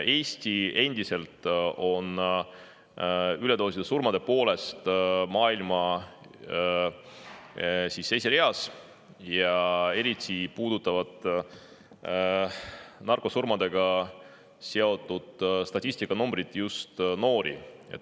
Eesti on endiselt üledoosisurmade poolest maailma esireas ja eriti puudutavad narkosurmadega seotud statistikanumbrid noori.